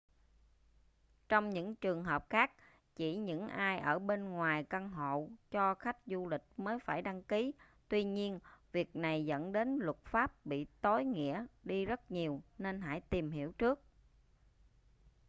trong những trường hợp khác chỉ những ai ở bên ngoài căn hộ cho khách du lịch mới phải đăng ký tuy nhiên việc này dẫn đến luật pháp bị tối nghĩa đi rất nhiều nên hãy tìm hiểu trước